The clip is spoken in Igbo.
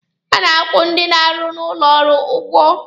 A na-akwụ ndị na-arụ n'ụlọ ọrụ ụgwọ.